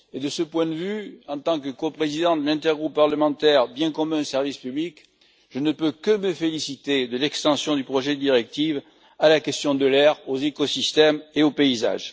De ce point de vue, en tant que coprésident de l'intergroupe parlementaire Biens communs et services publics, je ne peux que me féliciter de l'extension du projet de directive à la question de l'air, aux écosystèmes et au paysage.